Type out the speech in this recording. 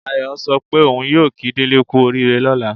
Ayọ̀ sọ pé òun yóò kí Délé kú oríire lọ́la